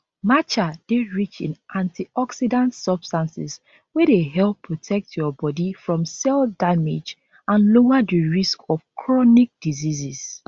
matcha dey rich in antioxidants substances wey dey help protect your body from cell damage and lower di risk of chronic diseases